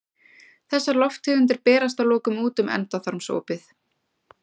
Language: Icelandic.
Þessar lofttegundir berast að lokum út um endaþarmsopið.